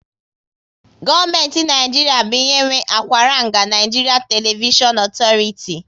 Gọọmenti Naijiria bụ ihe nwe akwaranga Nigeria Television Authority